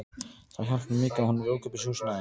Það hjálpar mikið að hún er í ókeypis húsnæði.